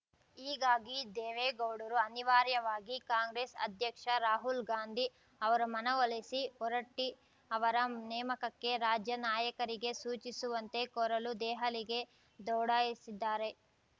ಹೀಗಾಗಿ ದೇವೇಗೌಡರು ಅನಿವಾರ್ಯವಾಗಿ ಕಾಂಗ್ರೆಸ್‌ ಅಧ್ಯಕ್ಷ ರಾಹುಲ್‌ ಗಾಂಧಿ ಅವರ ಮನವೊಲಿಸಿ ಹೊರಟ್ಟಿಅವರ ನೇಮಕಕ್ಕೆ ರಾಜ್ಯ ನಾಯಕರಿಗೆ ಸೂಚಿಸುವಂತೆ ಕೋರಲು ದೆಹಲಿಗೆ ದೌಡಾಯಿಸಿದ್ದಾರೆ